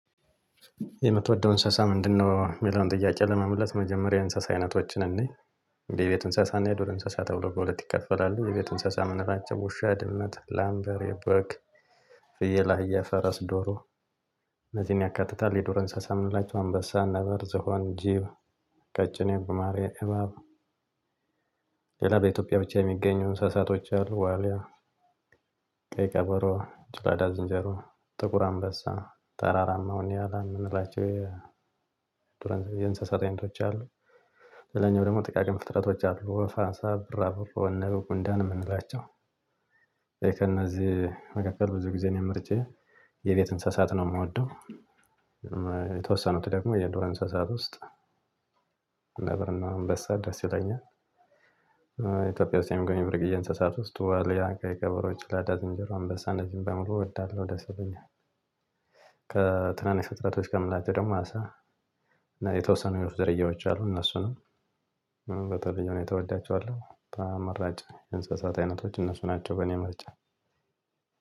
የምትወደው እንስሳ ምንድነው? የሚለውን ጥያቄ ለመመለስ መጀመሪያ እንስሳ አይነቶችን እንይ። የቤት እንሰሳ እና የዱር እንስሳ ተብሎ በሁለት ይከፈላል። የቤት እንስሳ የምንላቸው ውሻ ድመት ላም በሬ በግ። ፍየል አህያ ፈረስ ዶሮ እነዚህን ያካትታል። የዶሮ እንስሳ የምንላችሁ አንበሳ ነበር ዝሆን ጅብ ቀጭኔ ጉማሬ እባብ። ሌላ በኢትዮጵያ ብቻ የሚገኙ እንስሳቶች አሉ። ዋሊያ ቀይ ቀበሮ ጭላዳ ዝንጀሮ። ጥቁር አንበሳ ተራራማው ኒያላ ምንላቸው የዱር እንስሳ የእንስሳት አይነቶች አሉ። ሌላኛው ደግሞ ጥቃቅን ፍጥረቶች አሉ ወፍ አሳ ቢራቢሮ ንብ ጉንዳን ምንላቸው። እኔ ከነዚህ መካከል ብዙ ጊዜ እኔ ምርጫዬ የቤት እንስሳት ነው ምወደው። የተወሰኑት ደግሞ የዱር እንስሳት ውስጥ ነበርና እንበሳ ደስ ይለኛል። ኢትዮጵያ ውስጥ የምገኘው ብርቅ እንስሳት ውስጥ ዋልያ ቀይ ቀበሮ ጭላዳ ዝንጀሮ አንበሳ እነዚህን በሙሉ እወዳለሁ ደስ ይሉኛል። ከትናንሽ ፍጥረቶች ከምላቸው ደግሞ አሳ እና የተወሰኑ የወፍ ዝርያዎች አሉ። እነሱንም በተለየ ሁኔታ እወዳቸዋለሁ ተመራጭ እንስሳት አይነቶች እነሱ ናቸው በእኔ ምርጫ።